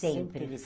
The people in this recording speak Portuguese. Sempre.